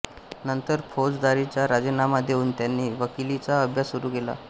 नंतर फौजदारीचा राजीनामा देऊन त्यांनी वकिलीचा अभ्यास सुरू केला